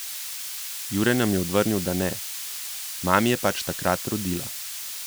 Jure nam je odvrnil, da ne: 'Mami je pač takrat rodila.